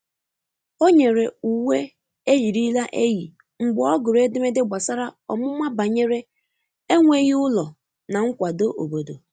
O nyere uwe eyirila eyi mgbe ọ gụrụ edemede gbasara ọmụma banyere enweghi ụlọ na nkwado obodo.